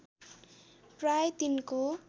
प्राय तिनको